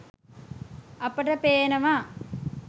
අපට පේනවා